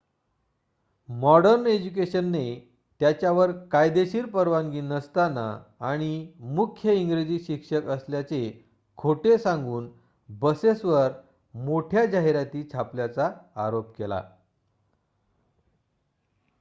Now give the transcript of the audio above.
modern इज्युकेशनने त्याच्यावर कायदेशीर परवानगी नसताना आणि मुख्य इंग्रजी शिक्षक असल्याचे खोटे सांगून बसेसवर मोठ्या जाहिराती छापल्याचा आरोप केला